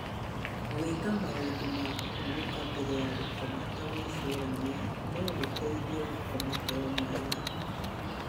Gwĩka maũndũ ma kũhurũka mbere ya gũkoma ta gwĩcũrania no gũteithie gũkoma toro mwega.